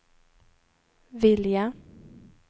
vilja